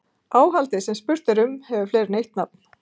Áhaldið sem spurt er um hefur fleiri en eitt nafn.